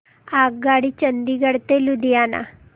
आगगाडी चंदिगड ते लुधियाना